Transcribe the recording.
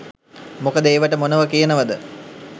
මොකද ඒවට මොනවා කියනවද